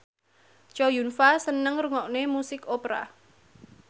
Chow Yun Fat seneng ngrungokne musik opera